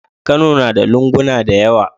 Kano nada lunguna dayawa